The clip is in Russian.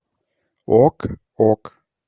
ок ок